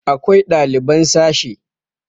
akwai ɗaliban sashe